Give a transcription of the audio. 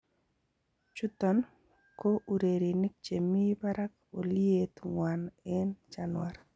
Chuton koo ureriinik chemii baraak oliyet nywan en Chanuar.